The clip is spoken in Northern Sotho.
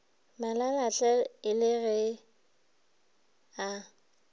malalatle e le ge a